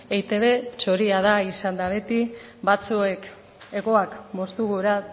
eitb txoria da izan da beti batzuek hegoak moztu gura